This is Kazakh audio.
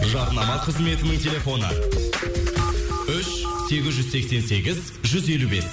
жарнама қызметінің телефоны үш сегіз жүз сексен сегіз жүз елу бес